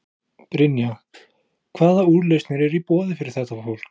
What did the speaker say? Brynja: Hvaða úrlausnir eru í boði fyrir þetta fólk?